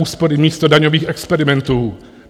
Úspory místo daňových experimentů.